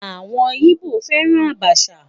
Àwọn Ìgbò fẹ́ran àbàṣà